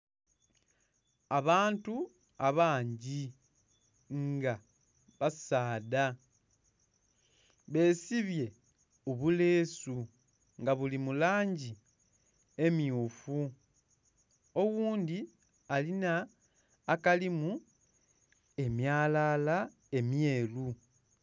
Abantu abangi nga basaadha besibye obulesu nga buli mulangi emmyufu, oghundhi alinha akalimu emyalala emyeru.